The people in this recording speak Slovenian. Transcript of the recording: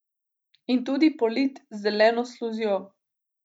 In tudi polit z zeleno sluzjo.